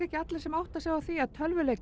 ekki allir sem átta sig á því að